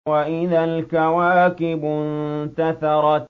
وَإِذَا الْكَوَاكِبُ انتَثَرَتْ